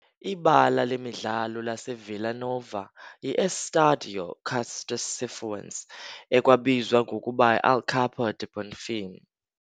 Ibala lemidlalo laseVilla Nova yi-Estádio Castor Cifuentes, ekwabizwa ngokuba yi"Alçapão do Bonfim".